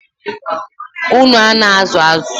Unu a na-azụ azụ?